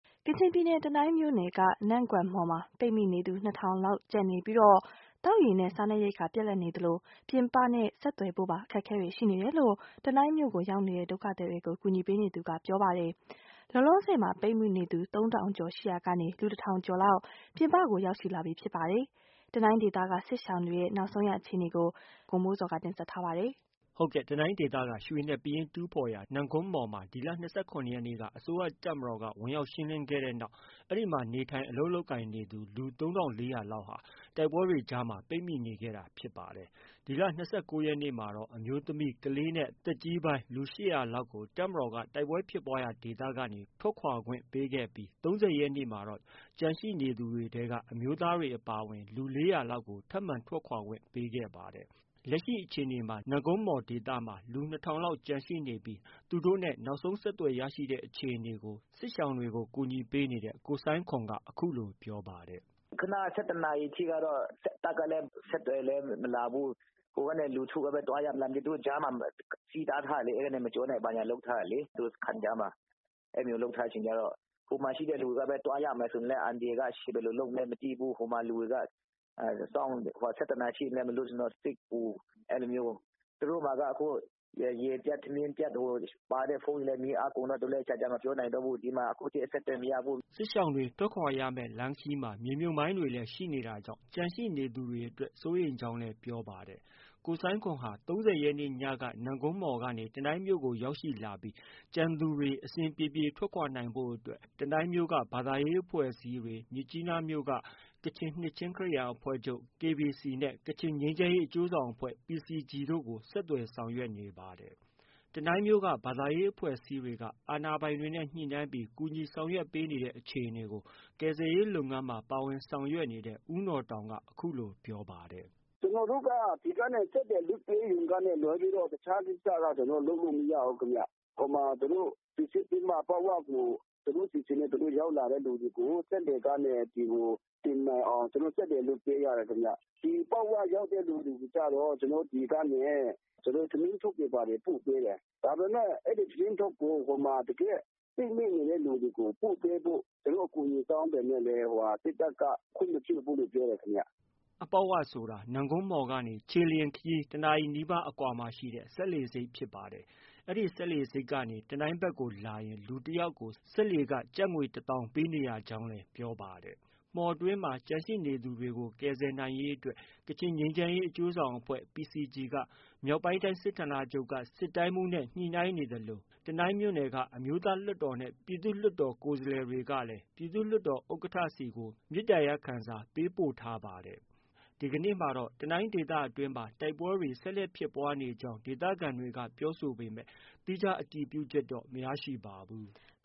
ကချင်ပြည်နယ် တနိုင်းမြို့နယ်က နမ့်ဂွမ်မှော်မှာ ပိတ်မိနေသူ ၂ထောင်လောက်ကျန်ရှိနေပြီး သောက်ရေနဲ့ စားနပ်ရိက္ခာပြတ်လပ်နေသလို ပြင်ပနဲ့ ဆက်သွယ်ဖို့ပါ အခက်အခဲတွေရှိနေတယ်လို့ တနိုင်းမြို့ကို ရောက်ရှိလာတဲ့ ဒုက္ခသည်တွေကို ကူညီနေသူတဦးက ပြောပါတယ်။ လောလောဆည်မှာ ပိတ်မိနေသူ ၃ထောင်ကျော်ရှိရာက လူ ၁ထောင်ကျော်လောက် ပြင်ပကို ရောက်ရှိလာပြီဖြစ်ပါတယ်။ တနိုင်းဒေသက စစ်ရှောင်တွေရဲ့ နောက်ဆုံးအခြေအနေကို ဗွီအိုအေမြန်မာပိုင်းရဲ့သတင်းထောက် ကိုမိုးဇော်က တင်ပြထားပါတယ်။ တနိုင်းဒေသက ရွှေနဲ့ ပယင်းတူးဖော်ရာ နမ့်ဂွမ်မှော်မှာ ဒီလ ၂၇ရက်နေ့က အစိုးရတပ်မတော်က ဝင်ရောက်ရှင်းလင်းခဲ့တဲ့နောက် အဲဒီမှာ နေထိုင် အလုပ်လုပ်ကိုင်နေသူ လူ ၃၄၀၀လောက်ဟာ တိုက်ပွဲတွေအကြားမှာ ပိတ်မိနေခဲ့တာ ဖြစ်ပါတယ်။ ဒီလ ၂၉ရက်နေ့မှာတော့ အမျိုးသမီး၊ ကလေးနဲ့ သက်ကြီးပိုင်း လူ ၈၀၀လောက်ကို တပ်မတော်က တိုက်ပွဲဖြစ်ပွားရာဒေသက ထွက်ခွာခွင့်ပေးခဲ့ပြီး ၃၀ရက်နေ့မှာတော့ ကျန်ရှိတဲ့ အမျိုးသားတွေအပါအဝင် လူ ၄၀၀လောက်ကို ထပ်မံထွက်ခွာခွင့်ပေးခဲ့ပါတယ်။ လက်ရှိအခြေအနေမှာ လူ ၂ထောင်လောက်ကျန်ရှိနေပြီး သူတို့နဲ့ နောက်ဆုံးဆက်သွယ် ရရှိတဲ့ အခြေအနေကို စစ်ရှောင်တွေကို ကူညီပေးနေတဲ့ ကိုဆိုင်းခွန်က အခုလို ပြောပါတယ်။ “ ခုနက ၁၁နာရီအထိကတော့ တပ်ဖက်က အဆက်အသွယ်လည်း မလာဘူး။ ဟိုကနေ လူထုကပဲ သွားရမလား။ လူထုကြားမှာ စည်းတားထားတယ်။ အဲဒီကနေ မကျော်နဲ့ ဘာညာလုပ်ထားတယ်လေ။ သူတို့စခန်းကြားမှာ။ အဲဒါမျိုးလုပ်ထားတဲ့အခါကျတော့ ဟိုမှာရှိတဲ့လူတွေက သွားရမယ်ဆိုရင်လည်း အန္တရာယ်က ရှိ။ ဘယ်လိုလုပ်မလဲမသိဘူး။ ဟိုမှာ လူတွေက ၁၁နာရီထိလည်း မလွှတ်ဆိုတော့ စိတ်ပူ။ သူတို့မှာက ရေပြတ်၊ ထမင်းပြတ်၊ ပါတဲ့ဖုန်းတွေလည်း မီးအားကုန်တော့ သူတို့လည်း ကြာကြာ မပြောနိုင်တော့ဘူး။ ဒီမှာ အခုအထိ အဆက်အသွယ်မရဘူး။ ” စစ်ရှောင်တွေ ထွက်ခွာရမယ့် လမ်းခရီးမှာ မြေမြုပ်မိုင်းတွေ ရှိနေတာကြောင့် ကျန်ရှိနေသူတွေအတွက် စိုးရိမ်ကြောင်းလည်း ပြောပါတယ်။ ကိုဆိုင်းခွန်ဟာ ၃၀ရက်နေ့ညက နမ့်ဂွမ်မှော်ကနေ တနိုင်းမြို့ကို ရောက်ရှိလာပြီး ကျန်ရှိနေသူတွေ အဆင်ပြေပြေ ထွက်ခွာနိုင်ဖို့အတွက် တနိုင်းမြို့က ဘာသာရေး အဖွဲ့အစည်းတွေ၊ မြစ်ကြီးနားမြို့ ကချင်နှစ်ခြင်း ခရစ်ယာန်အဖွဲ့ချုပ် KBC နဲ့ ကချင်ငြိမ်းချမ်းရေးအကျိုးဆောင်အဖွဲ့ PCG တို့ကို ဆက်သွယ် ဆောင်ရွက်နေပါတယ်။ တနိုင်းမြို့က ဘာသာရေး အဖွဲ့အစည်းတွေက အာဏာပိုင်တွေနဲ့ညှိနှိုင်းပြီး ကူညီဆောင်ရွက်နေတဲ့ အခြေအနေကို ကယ်ဆယ်ရေးလုပ်ငန်းမှာ ပါဝင်ဆောင်ရွက်နေတဲ့ ဦးနော်တောင်က အခုလို ပြောပါတယ်။ “ ကျနော်တို့က ဒီကနေ စက်လှေလွှတ်ပေးရုံကလွဲလို့ တခြားကိစ္စ လုပ်လို့ မရဘူးဗျ။ ဟိုမှာစိစစ်ပြီးမှ အပေါက်ဝကို သူတို့အစီအစဉ်နဲ့ သူတို့ ရောက်လာတဲ့သူတွေကို စက်လှေကနေ ဒီကို တင်နိုင်အောင် ကျနော်တို့ စက်လှေလွှတ်ပေးရတယ်ခင်ဗျ။ ဒီအပေါက်၀ ရောက်တဲ့လူတွေကျတော့ ဒီကနေ ထမင်းထုပ်တွေ ဘာတွေ ပို့ပေးတယ်။ ဒါပေမဲ့ အဲဒီထမင်းထုပ်ကို ဟိုမှာ တကယ့် ပိတ်မိနေတဲ့သူတွေကို ပို့ပေးဖို့ ကျနော်တို့ အကူအညီ တောင်းပေမဲ့လည်း စစ်တပ်က ခွင့်မပြုဘူးလို့ ပြောတယ်ခင်ဗျ။” အပေါက်ဝဆိုတာ နမ့်ဂွမ်မှော်ကနေ ခြေလျင်ခရီး တနာရီနီးပါးအကွာမှာရှိတဲ့ စက်လှေဆိပ်ဖြစ်ပါတယ်။ အဲဒီစက်လှေဆိပ်ကနေ တနိုင်းဖက်ကို လာရင် လူတယောက်ကို စက်လှေခ ၁သောင်းပေး နေကြရကြောင်းလည်း ပြောပါတယ်။ မှော်အတွင်းမှာ ကျန်ရှိနေသူတွေ ကယ်ဆယ်နိုင်ရေးအတွက် ကချင်ငြိမ်းချမ်းရေး အကျိုးဆောင်အဖွဲ့ PCG က မြောက်ပိုင်းတိုင်း စစ်တိုင်းမှုးနဲ့ ညှိနှိုင်းနေသလို တနိုင်းမြို့နယ်က အမျိုးသားလွှတ်တော်နဲ့ ပြည်သူ့လွှတ်တော် ကိုယ်စားလှယ်တွေက ပြည်သူ့လွှတ်တော်ဥက္ကဌ ဆီကို မေတ္တာရပ်ခံစာ ပေးပို့ထားပါတယ်။ ဒီကနေ့မှာလည်း တနိုင်းဒေသအတွင်းမှာ တိုက်ပွဲတွေ ဆက်လက်ဖြစ်ပွားနေကြောင်း ဒေသခံတွေက ပြောဆိုပေမဲ့ သီးခြား အတည်ပြုချက်တော့ မရရှိပါဘူး။